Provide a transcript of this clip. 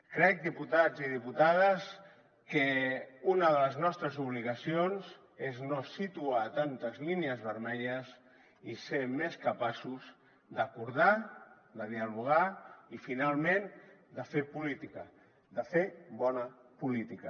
crec diputats i diputades que una de les nostres obligacions és no situar tantes línies vermelles i ser més capaços d’acordar de dialogar i finalment de fer política de fer bona política